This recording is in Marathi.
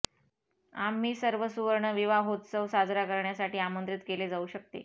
आम्ही सर्व सुवर्ण विवाहोत्सव साजरा करण्यासाठी आमंत्रित केले जाऊ शकते